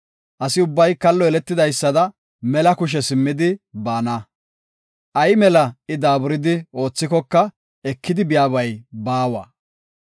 Asi ubbay kallo yeletidaysada mela kushe simmidi baana. Ay mela I daaburidi oothikoka ekidi biyabay baawa.